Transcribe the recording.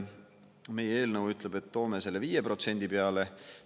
Meie eelnõu ütleb, et toome selle 5% peale.